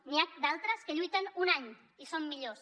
n’hi ha d’altres que lluiten un any i són millors